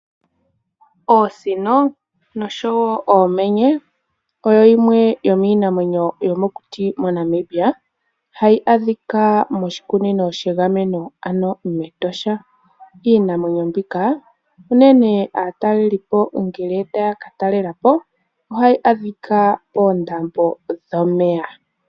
Oosino nosho wo oomenye oyo yimwe yomiinamwenyo yomokuti moNamibia hayi adhika moshikunino shegameno ano mEtosha. Iinamwenyo mbika unene aatalelelipo ngele taya ka talela po ohayi adhika poondambo dhomeya.